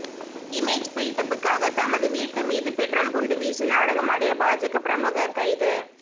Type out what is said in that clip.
image பில்டப்புக்காக தமது வீட்டு மீது பெட்ரோல் குண்டு வீசி நாடகமாடிய பாஜக பிரமுகர் கைது